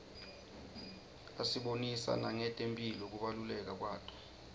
asibonisa nangetemphilo kubaluleka kwato